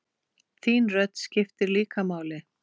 Þín rödd skiptir líka máli.